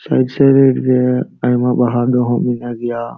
Side - side ᱨᱮ ᱟᱭᱢᱟ ᱵᱟᱦᱟ ᱰᱚᱦᱚ ᱢᱮᱱᱟᱜ ᱜᱤᱭᱟ᱾